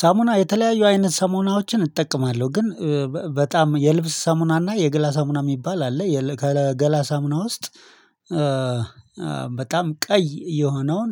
ሳሙና የተለያዩ አይነት ሳሙናዎችን እጠቀማለሁ ግን በጣም የልብስ ሳሙና እና የግላ ሳሙና የሚባል አለ ከገላ ሳሙና ውስጥ በጣም ቀይ የሆነውን